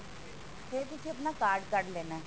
ਫੇਰ ਤੁਸੀਂ ਆਪਣਾ card ਕੱਢ ਲੈਣਾ